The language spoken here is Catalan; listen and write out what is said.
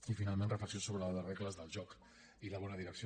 i finalment reflexions sobre les regles del joc i la bona direcció